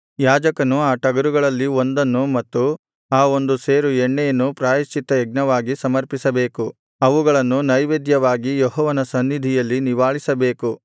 ಯಾಜಕನು ಆ ಟಗರುಗಳಲ್ಲಿ ಒಂದನ್ನು ಮತ್ತು ಆ ಒಂದು ಸೇರು ಎಣ್ಣೆಯನ್ನು ಪ್ರಾಯಶ್ಚಿತ್ತಯಜ್ಞವಾಗಿ ಸಮರ್ಪಿಸಬೇಕು ಅವುಗಳನ್ನು ನೈವೇದ್ಯವಾಗಿ ಯೆಹೋವನ ಸನ್ನಿಧಿಯಲ್ಲಿ ನಿವಾಳಿಸಬೇಕು